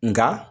Nka